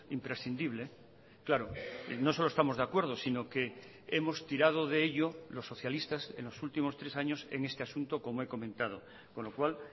imprescindible claro no solo estamos de acuerdo sino que hemos tirado de ello los socialistas en los últimos tres años en este asunto como he comentado con lo cual